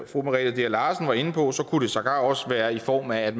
fru merete dea larsen var inde på kunne det sågar også være i form af at